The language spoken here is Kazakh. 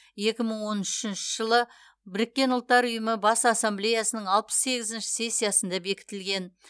екі мың он үшінші жылы біріккен ұлттар ұйымы бас ассамблеясының алпыс сегізінші сессиясында бекітілген